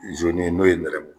ye n'o ye nɛrɛmugu